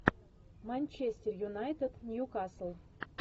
манчестер юнайтед ньюкасл